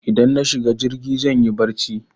Idan na shiga jirgin zanyi barci